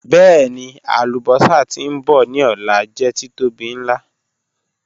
Bẹẹni, alubosa ti nbọ ni ọla jẹ titobi nla.